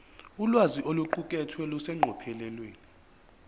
ulwazi oluqukethwe luseqophelweni